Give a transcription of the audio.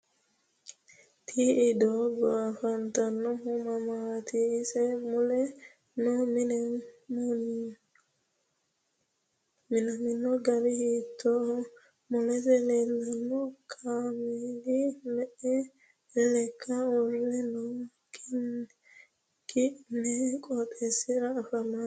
Ti i doogo afantanohu mamaati ise mule noo mini munaminno gari hiitooho mulesi leelanno kaameeli me'e lekkani uure no kinni qooxeesira afamannori maati